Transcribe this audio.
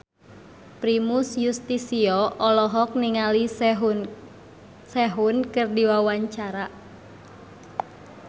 Primus Yustisio olohok ningali Sehun keur diwawancara